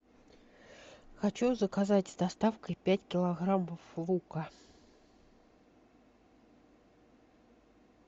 хочу заказать с доставкой пять килограммов лука